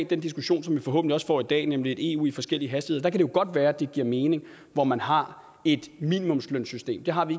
den diskussion som vi forhåbentlig også får i dag nemlig et eu i forskellige hastigheder kan det jo godt være at det giver mening hvor man har et minimumslønsystem det har vi